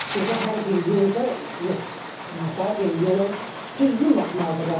Bir də hər bir yolda nə təhər deyim, yola düzgün baxmalıdırlar da.